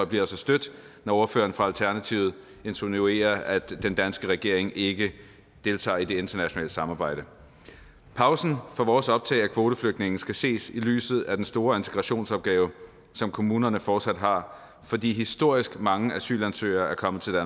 bliver så stødt når ordføreren fra alternativet insinuerer at den danske regering ikke deltager i det internationale samarbejde pausen for vores optag af kvoteflygtninge skal ses i lyset af den store integrationsopgave som kommunerne fortsat har fordi historisk mange asylansøgere er kommet til